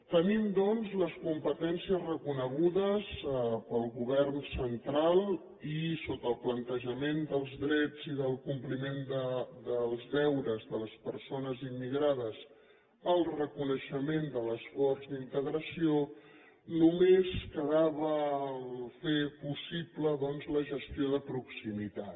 tenim doncs les competències reconegudes pel govern central i sota el plantejament dels drets i el compliment dels deures de les persones immigrades i el reconeixement de l’esforç d’integració només quedava fer possible doncs la gestió de proximitat